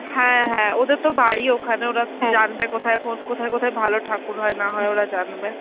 হ্যাঁ হ্যাঁ ওদের তো বাড়ি ওখানে, ওরা জানবে কোথায় কোন~ কোথায় কোথায় ভালো থাকুর হয় না হয় ওরা জানবে.